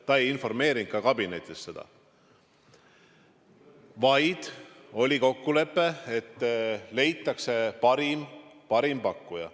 Ta ei informeerinud ka kabinetis sellest, vaid oli kokkulepe, et leitakse parim pakkuja.